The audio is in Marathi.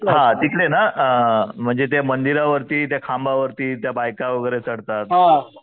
हां तिकडे ना म्हणजे ते मंदिरावर्ती त्या खांबावरती त्या बायका वगैरे चढतात.